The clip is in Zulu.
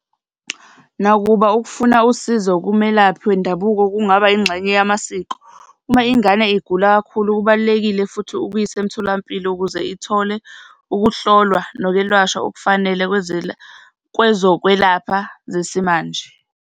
Nakuba ukufuna usizo kumelaphi wendabuko kungaba ingxenye yamasiko uma ingane igula kakhulu, kubalulekile futhi ukuyisa emtholampilo ukuze ithole ukuhlolwa nokwelashwa okufanele kwezokwelapha zesimanje.